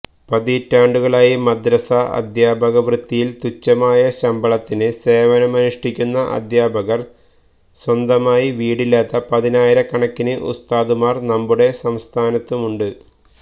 പതിറ്റാണ്ടുകളായി മദ്രസ അധ്യാപകവൃത്തിയില് തുഛമായ ശമ്പളത്തിന് സേവനമനുഷ്ടിക്കുന്ന അധ്യാപകര് സ്വന്തമായി വീടില്ലാത്ത പതിനായിര കണക്കിന് ഉസ്താദുമാര് നമ്മുടെ സംസ്ഥാനത്തുണ്ട്